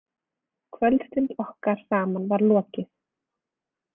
Kvöldstund okkar saman var lokið.